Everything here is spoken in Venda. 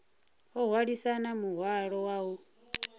o hwalisana muhwalo wa u